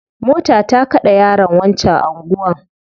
Mota ta kade yaron wancan anguwan